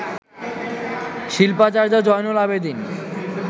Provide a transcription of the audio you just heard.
Shilpacharya Zainul Abedin